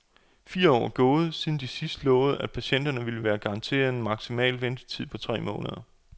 Fire år er gået, siden de sidst lovede, at patienterne ville være garanteret en maksimal ventetid på tre måneder.